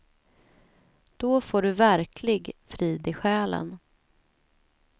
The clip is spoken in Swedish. Då får du verklig frid i själen.